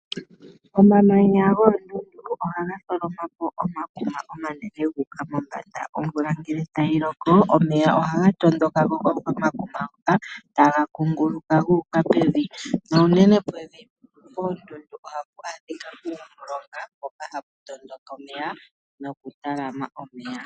Omamanya goondundu oha ga tholoma po omakuma omanene gu uka mombanda. Omvula ngele ta yi loko, omeya oha ga tondoka ko komakuma ngoka ta ga kunguluka gu uka pevi, na unene pevi poondundu oha pu adhika uumulonga mpoka ha pu tondoka omeya nokutalama omeya.